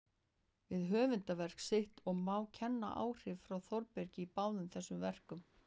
við höfundarverk sitt, og má kenna áhrif frá Þórbergi í báðum þessum verkum.